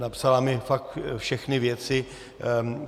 Napsala mi fakt všechny věci.